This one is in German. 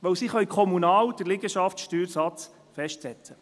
Denn sie können den Liegenschaftssteuersatz kommunal festsetzen.